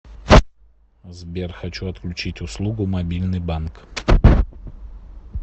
сбер хочу отключить услугу мобильный банк